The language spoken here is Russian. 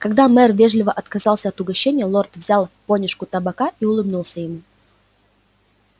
когда мэр вежливо отказался от угощения лорд взял понюшку табака и улыбнулся ему